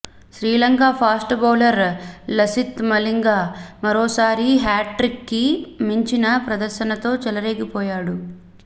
Sri Lanka fast bowler Lasith Malinga మరోసారి హ్యాట్రిక్కి మించిన ప్రదర్శనతో చెలరేగిపోయాడు